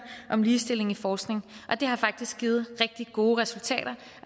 om ligestilling i forskning det har faktisk givet rigtig gode resultater